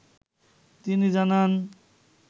তিনি জানান